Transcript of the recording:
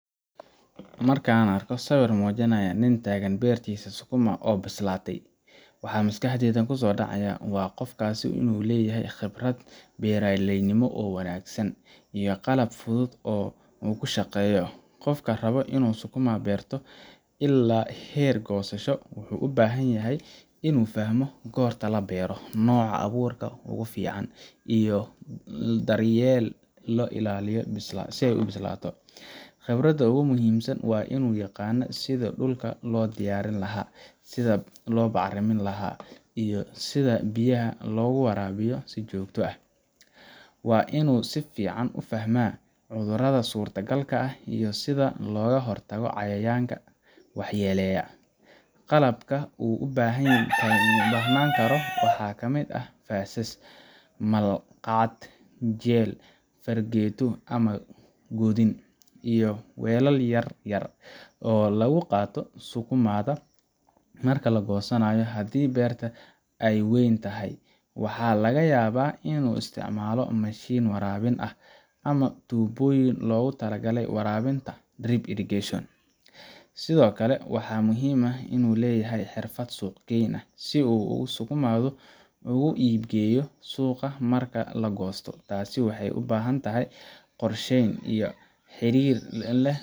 Marka aan arko sawir muujinaya nin taagan beertiisa sukuma oo bislaatay, waxa maskaxdayda ku soo dhacaya in qofkaas uu leeyahay khibrad beeralaynimo oo wanaagsan, iyo qalab fudud oo uu ku shaqeeyo. Qofka raba inuu sukuma beerto ilaa heer goosasho wuxuu u baahan yahay inuu fahmo goorta la beero, nooca abuurka ugu fiican, iyo sida loo daryeelo illaa ay bislaato. Khibradda ugu muhiimsan waa inuu yaqaan sidii dhulka loo diyaarin lahaa, sida loo bacrimin laha, iyo sida biyaha loogu waraabiyo si joogto ah. Waa inuu si fiican u fahmaa cudurrada suurtagalka ah iyo sida looga hortago cayayaanka waxyeeleeya. Qalabka uu u baahnaan karo waxaa ka mid ah faasas, malqacad, jeel, fargeeto ama godin, iyo weelal yar-yar oo lagu qaado sukumada marka la goosanayo. Haddii beerta ay weyn tahay, waxaa laga yaabaa inuu isticmaalo mashiin waraabin ah, ama tuubooyin loogu talagalay waraabinta drip irrigation. Sidoo kale, waxaa muhiim ah inuu leeyahay xirfad suuq-geyn si uu sukumada ugu iibgeeyo suuqa marka la goosto. Taasi waxay u baahan tahay qorsheyn iyo xiriir la leh.